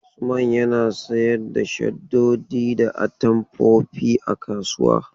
Usman yana Sayar da shaddoji da atamfofi a kasuwa.